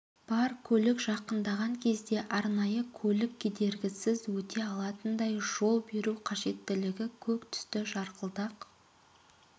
бар көлік жақындаған кезде арнайы көлік кедергісіз өте алатындай жол беру қажеттігіне көк түсті жарқылдақ